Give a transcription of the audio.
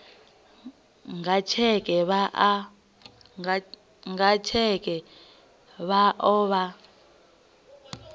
nga tsheke vha o vha